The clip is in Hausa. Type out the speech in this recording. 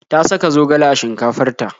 Ta saka zogale a shinkafar ta.